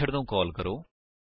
method ਨੂੰ call ਕਰੋ